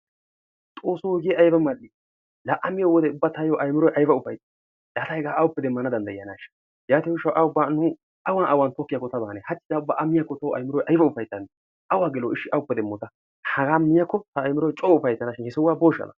Xoosso hegee ayiba mal'ii! Laa a miyode ubba tayyoo ayimiroy ayiba ufayitti! Laa ta hegaa awuppe demmana danddayiyanaashsha! Yaatiyo gishshawu ta ubba nu awan awan koyyiyakko ta a maane! A miyakko tawu ayimiroy ayiba ufayttaneeshsha! Awuppe demmooshsha hagaa miyakko ta ayimiroy coo ufayittana he sohuwan booshsha?